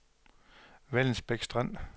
Vallensbæk Strand